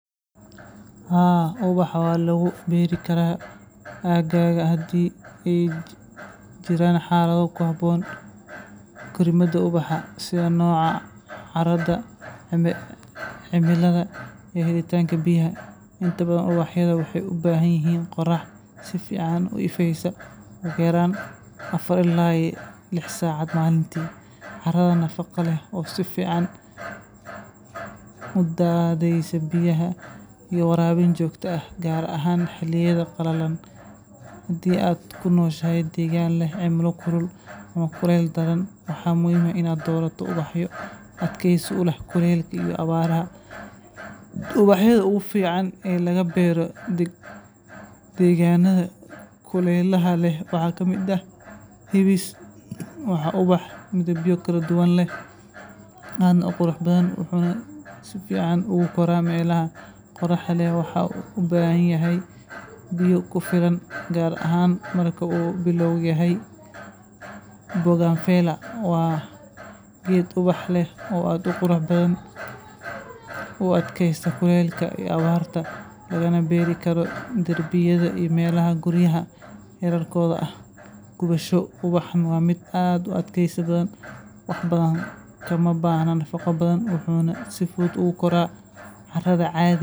ubaxa walagu beri kara agaga hadii eey jiraan xalado ku baahan korimada ubaxa sida carada, cimilada, iyo helida biyaha. inta badan ubaxa wexey u baahan yihiin qorax si uu ifeeyo, ugu yaraan afar ilaa lix saacadood. caro nafaqo leh oo si fiican u heyneso biyaha iyo waraabinta biyaha xilliyada qalalan. hadii aad ku nooshahay degaan leh cimilo kulul ama kuleyl badan, waxa muhiim ah inaad doorato ubaxyo adkaysi u leh kuleylka iyo abaaraha. ubaxyada u fiican ee laga beero degaanada kuleylaha waxa ka mid ah hibis (Hibiscus )waa ubax midabyo kala duwan leh, waana ubax aad u qurux badan, wuxuuna si fiican ugu koraa meelaha aadka u qoraxda leh. wuxuuna u baahan yahay biyo badan, gaar ahaan markuu bilow yahay( Bougainvillea )waa geed ubax leh oo dhala midabyo dhalaalaya, qurux badan, oo ku koraya derbiyada iyo carada caadiga ah.